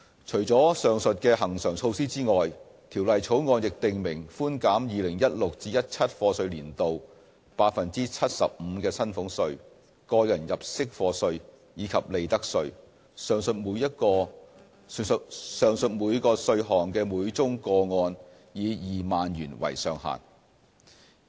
除了上述恆常措施外，《條例草案》亦訂明寬減 2016-2017 課稅年度 75% 的薪俸稅、個人入息課稅，以及利得稅，上述每個稅項的每宗個案以2萬元為上限。